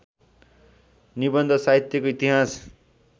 निबन्ध साहित्यको इतिहास